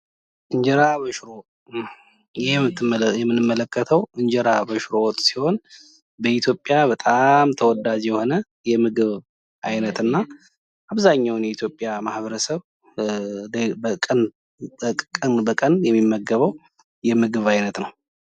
እንጀራ በሽሮ ይህ የምንመለከተው እንጀራ በሽሮ ወጥ ሲሆን በኢትዮጵያ በጣም ተወዳጅ የሆነ የምግብ ዓይነት እና አብዛኛውን የኢትዮጵያ ማህበረሰብ በቀን በቀን የሚመገበው የምግብ አይነቶች ነው።